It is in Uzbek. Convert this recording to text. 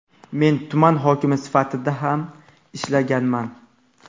Men tuman hokimi sifatida ham ishlaganman.